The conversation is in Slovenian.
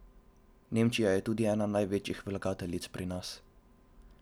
Nemčija je tudi ena največjih vlagateljic pri nas.